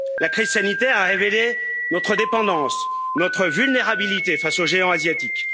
La crise sanitaire a révélé notre dépendance, notre vulnérabilité face au géant asiatique.